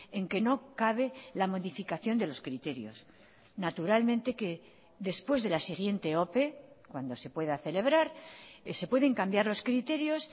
en que no cabe la modificación de los criterios naturalmente que después de la siguiente ope cuando se pueda celebrar se pueden cambiar los criterios